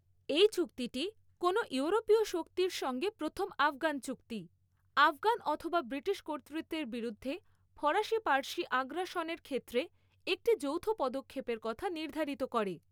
এই চুক্তিটি, কোনও ইউরোপীয় শক্তির সঙ্গে প্রথম আফগান চুক্তি, আফগান অথবা ব্রিটিশ কর্তৃত্বের বিরুদ্ধে ফরাসি পার্সি আগ্রাসনের ক্ষেত্রে একটি যৌথ পদক্ষেপের কথা নির্ধারিত করে।